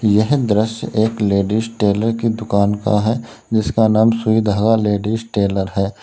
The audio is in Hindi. यह दृश्य एक लेडिस टेलर की दुकान का है जिसका नाम सुई धागा लेडिस टेलर है।